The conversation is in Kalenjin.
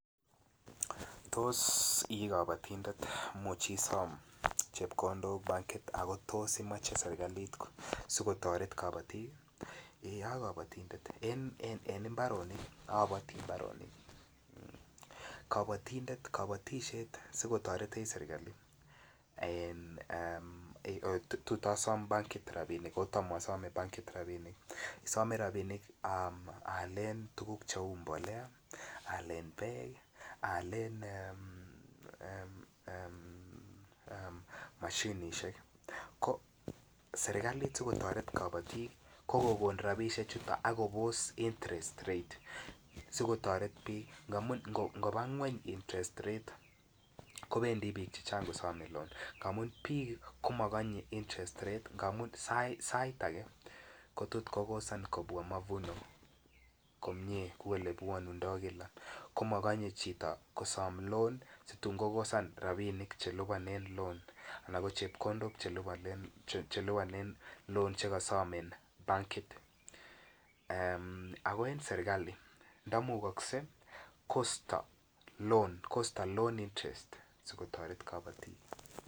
Tos I kapatindet muchisom chepkondok bankit ako tos imeche serkalit so kotoret kapatik ee a kapatindet en mbarenik apati mbarenik kapatisiet ko nyolu kotoretech serkali tot asom bankit rabisiek asome rabinik aalen tuguk Cheu mbolea aalen tuguk Cheu Beek mashinisiek ko serkalit si kotoret kabatik ko kokon rabisiechuto ak kobos interest rate si kobos si kotoret bik amun ngoba ngwony interest rate kobendi bik chechang ko some lon amun mi ngwony interest rate amun sait age ko tot kokosan kobwa mavuno komie kou olebwonundoi kila ko mokonye chito kosom loan situn kokosan rabisiek Che lipanen lon anan ko chepkondok Che lipanen lon Che kosom en bankisiek Che miten ak en serkali ndamukokse ko sto lon si kotoret kabatik